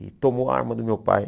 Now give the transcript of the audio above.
E tomou a arma do meu pai.